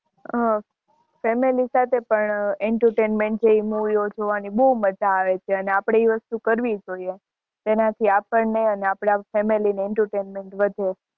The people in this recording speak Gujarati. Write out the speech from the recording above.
હા family સાથે પણ entertainment movie જોવાની મજ્જા આવે છે અને આપણે એ વસ્તુ કરવી જોયે એનાથી આપણે આપણા family entertainment વધે છે